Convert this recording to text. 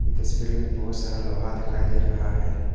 ये तस्वीर में बहोत सारा लोहा दिखाई दे रहा है।